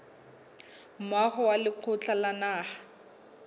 moaho wa lekgotla la naha